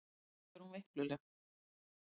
Ósköp er hún veikluleg.